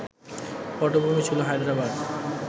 পটভূমি ছিল হায়দ্রাবাদ